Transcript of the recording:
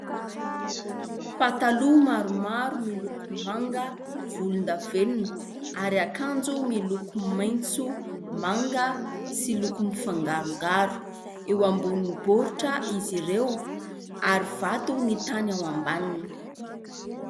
Pataloha maromaro miloko : manga, volondavenona ; ary akanjo miloko : maitso, manga sy loko mifangarongaro. Eo ambonin'ny baoritra izy ireo ary vato ny tany ao ambaniny.